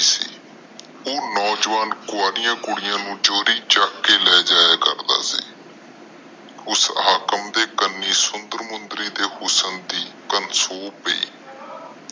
ਉਹ ਨੌਜਵਾਨ ਕੁਵਾਂਰੀਆਂ ਕੁੜੀਆਂ ਨੂੰ ਚੋਰੀ ਚੁੱਕ ਕੇ ਲੈ ਜਾਯਾ ਕਰਦਾ ਸੀ। ਉਸ ਹਾਕਮ ਦੇ ਕਣੀ ਸੁੰਦਰ ਮੁੰਦਰੀ ਦੀ ਹੁਸਨ ਦੀ ਗੱਲ ਸੁਨ ਪੈ।